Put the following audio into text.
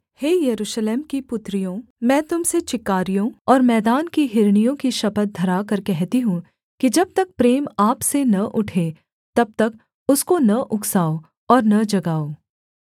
हे यरूशलेम की पुत्रियों मैं तुम से चिकारियों और मैदान की हिरनियों की शपथ धराकर कहती हूँ कि जब तक प्रेम आप से न उठे तब तक उसको न उकसाओं और न जगाओ